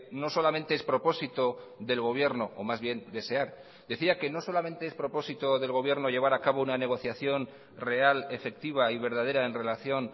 no solamente es propósito del gobierno o más bien desear decía que no solamente es propósito del gobierno llevar acabo una negociación real efectiva y verdadera en relación